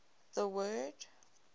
the word